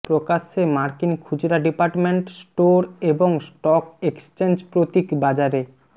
প্রকাশ্যে মার্কিন খুচরা ডিপার্টমেন্ট স্টোর এবং স্টক এক্সচেঞ্জ প্রতীক বাজারে